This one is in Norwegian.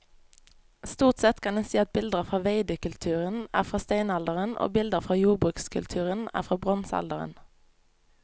Stort sett kan en si at bilder fra veidekulturen er fra steinalderen og bilder fra jordbrukskulturen er fra bronsealderen.